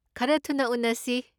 ꯈꯔ ꯊꯨꯅ ꯎꯅꯁꯤ꯫